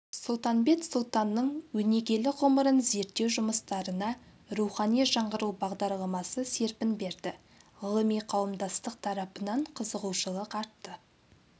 сұлтанбет сұлтанның өнегелі ғұмырын зерттеу жұмыстарына рухани жаңғыру бағдарламасы серпін берді ғылыми қауымдастық тарапынан қызығушылық артты